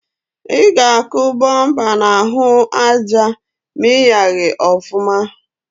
I ga-akụ bụmpa n’ahụ aja ma ịyaghị ọfụma